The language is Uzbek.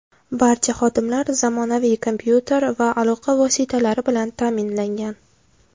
Barcha xodimlar zamonaviy kompyuter va aloqa vositalari bilan ta’minlangan.